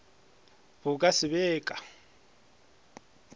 bo ka se be ka